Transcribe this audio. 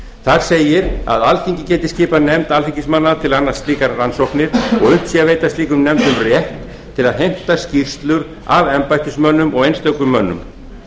þar segir að alþingi geti skipað nefndir alþingismanna til að annast slíkar rannsóknir og að unnt sé að veita slíkum nefndum rétt til að heimta skýrslur af embættismönnum og einstökum mönnum